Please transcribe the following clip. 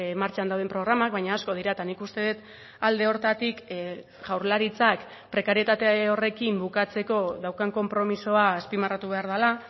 martxan dauden programak baina asko dira eta nik uste dut alde horretatik jaurlaritzak prekarietate horrekin bukatzeko daukan konpromisoa azpimarratu behar dela